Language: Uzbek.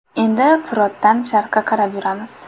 Endi Firotdan sharqqa qarab yuramiz.